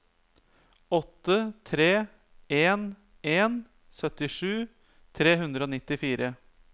åtte tre en en syttisju tre hundre og nittifire